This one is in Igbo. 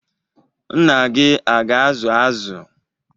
Nna gị aga-azụ azụ?